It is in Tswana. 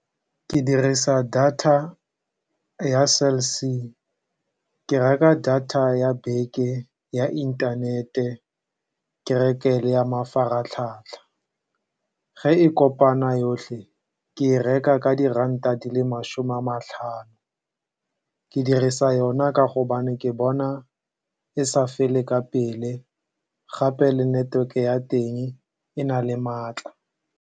Ke dirisa data ya Cell C. Ke reka data ya beke ya inthanete, ke reke le ya mafaratlhatlha. Fa e kopana yotlhe, ke e reka ka diranta di le masome a matlhano. Ke dirisa yona ka gonne ke bona e sa fele ka pele, gape le neteweke ya teng e na le maatla.